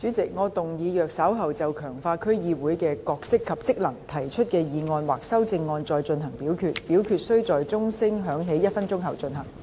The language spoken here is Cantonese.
主席，我動議若稍後就"強化區議會的角色及職能"所提出的議案或修正案再進行點名表決，表決須在鐘聲響起1分鐘後進行。